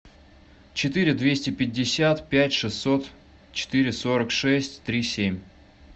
четыре двести пятьдесят пять шестьсот четыре сорок шесть три семь